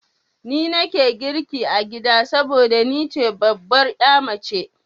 Ni nake girki a gida saboda ni ce babbar ya mace.